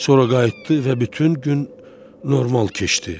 Sonra qayıtdı və bütün gün normal keçdi.